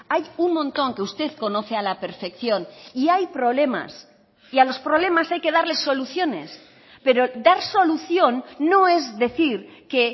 hay un montón que usted conoce a la perfección y hay problemas y a los problemas hay que darles soluciones pero dar solución no es decir que